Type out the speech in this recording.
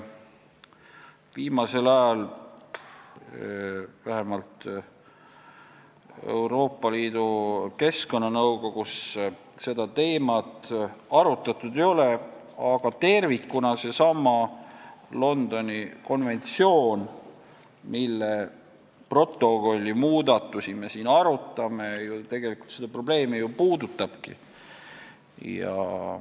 Viimasel ajal, vähemalt Euroopa Liidu keskkonnanõukogus, seda teemat arutatud ei ole, aga tervikuna seesama Londoni konventsioon, mille protokolli muudatusi me siin arutame, seda probleemi puudutabki.